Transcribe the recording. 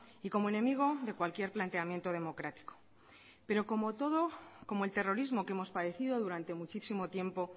y como enemigo de cualquier planteamiento democrático pero como todo como el terrorismo que hemos padecido durante muchísimo tiempo